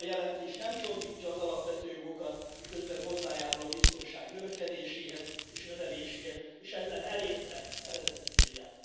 A jelentés nem csorbítja az alapvető jogokat, miközben hozzájárul a biztonság növekedéséhez és növeléséhez, és ezzel elérte eredeti célját.